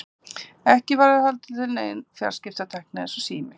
Ekki var heldur til nein fjarskiptatækni eins og sími.